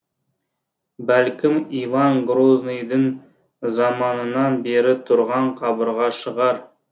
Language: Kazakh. бәлкім иван грозныйдың заманынан бері тұрған қабырға шығар